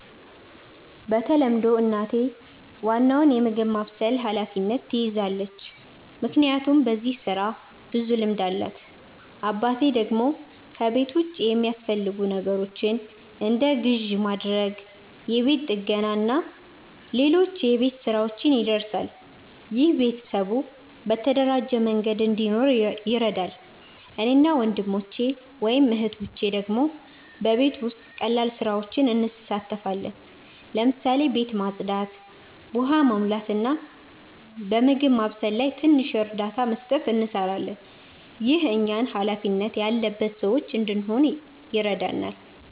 በተለምዶ እናቴ ዋናውን የምግብ ማብሰል ኃላፊነት ትይዛለች፣ ምክንያቱም በዚህ ስራ ብዙ ልምድ አላት። አባቴ ደግሞ ከቤት ውጭ የሚያስፈልጉ ነገሮችን እንደ ግዢ ማድረግ፣ የቤት ጥገና እና ሌሎች የቤት ሥራዎች ይደርሳል። ይህ ቤተሰቡ በተደራጀ መንገድ እንዲኖር ይረዳል። እኔ እና ወንድሞቼ/እህቶቼ ደግሞ በቤት ውስጥ ቀላል ስራዎች እንሳተፋለን። ለምሳሌ ቤት ማጽዳት፣ ውሃ መሙላት፣ እና በምግብ ማብሰል ላይ ትንሽ እርዳታ መስጠት እንሰራለን። ይህ እኛን ሃላፊነት ያለበት ሰዎች እንድንሆን ይረዳናል።